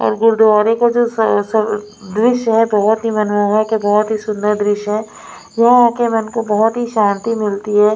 और गुरुद्वारे का जो स सब दृश्य है बहुत ही मनमोहक है बहुत ही सुंदर दृश्य है यहाँ आके मन को बहुत ही शांति मिलती है।